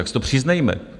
Tak si to přiznejme!